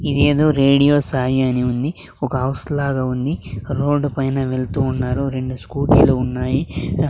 ఇది ఏదో రేడియో సాయి అని ఉంది ఒక హౌస్ లాగా ఉంది రోడ్డు పైన వెళ్తూ ఉన్నారు రెండు స్కూటీలు ఉన్నాయి.